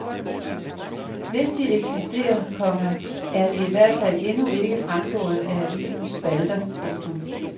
Hvis de eksisterer, komma er de i hvert fald endnu ikke fremgået af avisens spalter. punktum